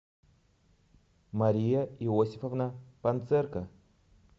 мария иосифовна панцерка